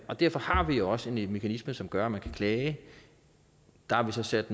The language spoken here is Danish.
og derfor har vi også en mekanisme som gør at man kan klage der har vi så sat